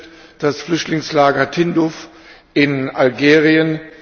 Es betrifft das Flüchtlingslager Tindouf in Algerien.